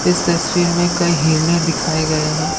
इस तस्वीर में कई हिरने दिखाए गए हैं।